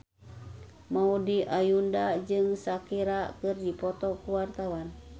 Maudy Ayunda jeung Shakira keur dipoto ku wartawan